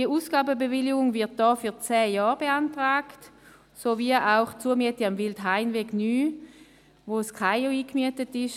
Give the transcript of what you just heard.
Die Ausgabenbewilligung wird hier für zehn Jahre beantragt, sowie auch die Zumiete am Wildhainweg 9, wo das Kantonale Amt für Informatik und Organisation (KAIO) eingemietet ist.